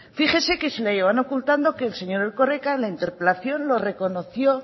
fíjese que si la llevan ocultando que el señor erkoreka en la interpelación lo reconoció